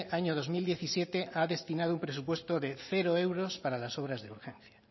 año dos mil diecisiete ha destinado un presupuesto de cero euros para las obras de urgencia